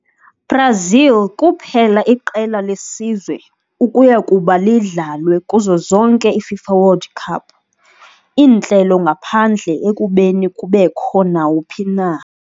Brazil kuphela iqela lesizwe ukuya kuba idlalwe kuzo zonke iFIFA World Cup iintlelo ngaphandle ekubeni kubekho nawuphi na.